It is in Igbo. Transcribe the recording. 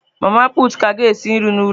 Mama pụtụ ka ga esi nri n'ụlọ.